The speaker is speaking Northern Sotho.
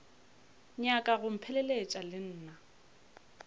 nyaka go mpheleletša le nna